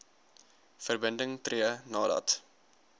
verbinding tree nadat